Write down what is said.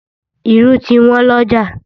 Irú ti Wọ́n lọ́jà